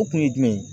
O kun ye jumɛn ye